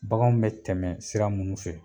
Bagan bɛ tɛmɛ sira minnu fɛ.